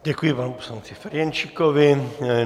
Děkuji panu poslanci Ferjenčíkovi.